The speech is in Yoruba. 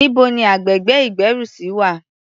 Níbo ni agbègbè ìgbérùsí wà?